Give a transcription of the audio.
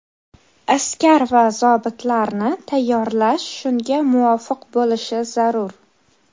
Askar va zobitlarni tayyorlash shunga muvofiq bo‘lishi zarur.